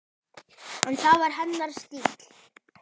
En það var hennar stíll.